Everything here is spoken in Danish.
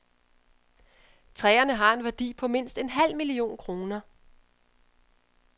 Træerne har en værdi på mindst en halv million kroner.